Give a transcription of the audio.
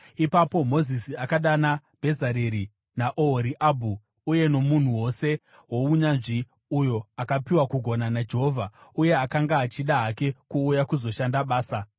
Ipapo Mozisi akadana Bhezareri naOhoriabhu uye nomunhu wose wounyanzvi uyo akapiwa kugona naJehovha uye akanga achida hake kuuya kuzoshanda basa.